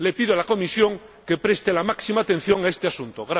Le pido a la Comisión que preste la máxima atención a este asunto.